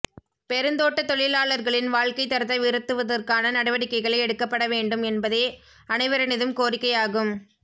பெருந்தோட்ட தொழிலாளர்களின் வாழ்க்கைத் தரத்தை உயர்த்துவதற்கான நடவடிக்கைகளை எடுக்கப்பட வேண்டும் என்பதே அனைவரினதும் கோரிக்கையாகும்